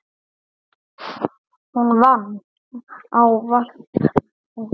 Hún vann ávallt úti.